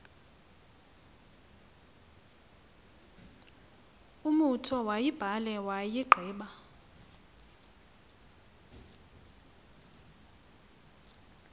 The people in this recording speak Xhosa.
umotu uyibhale wayigqiba